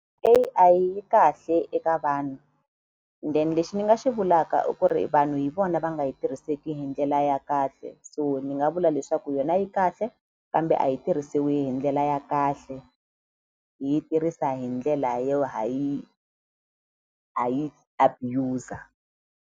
A_I yi kahle eka vanhu then lexi ni nga xi vulaka i ku ri vanhu hi vona va nga yi tirhiseki hi ndlela ya kahle so ni nga vula leswaku yona yi kahle kambe a yi tirhisiwi hi ndlela ya kahle hi yi tirhisa hi ndlela yo ha yi ha yi abuser.